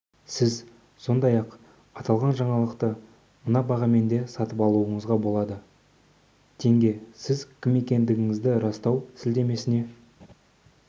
сіз сондай-ақ аталған жаңалықты мына бағамен де сатып алуыңызға болады тенге сіз кім екендігіңізді растау сілтемесіне